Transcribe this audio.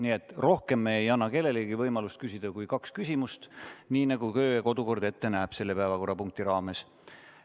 Nii et me ei anna kellelegi võimalust küsida rohkem kui kaks küsimust, nii nagu kodu- ja töökord ette näeb selle päevakorrapunkti raames.